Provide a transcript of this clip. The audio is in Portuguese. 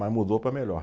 Mas mudou para melhor.